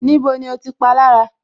Níbo ni o ti palára